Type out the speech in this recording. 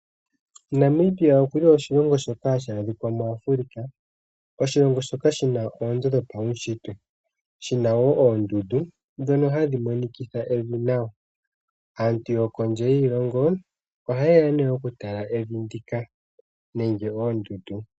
Namibia okuli oshilongo shoka hashi adhika muAfrika. Oshilongo shoka shi na oonzo dhopaunshitwe. Shi na woo oondundu ndhono hadhi monikitha evi nawa. Aantu yokondje yiilongo ohaye ya nee okutala evi ndi ka nenge oondundu.